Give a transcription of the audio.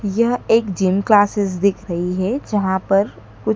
यह एक gym classes दिख रही है जहां पर कु--